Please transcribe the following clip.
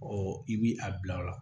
Ɔ i b'i a bila o la